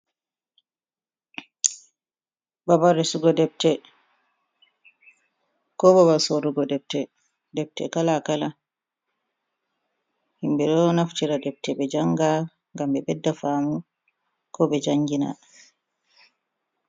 Babal resugo defte, ko babal sorrugo defte. Defte kala kala. Himɓe ɗo naftira defte ɓe janga ngam ɓe bedda faamu ko ɓe jangina.